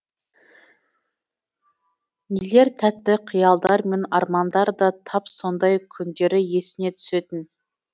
нелер тәтті қиялдар мен армандар да тап сондай күндері есіне түсетін